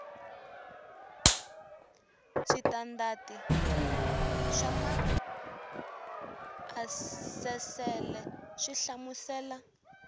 switandati swa maasesele swi hlamusela